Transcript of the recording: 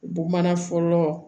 Bamanan fɔlɔ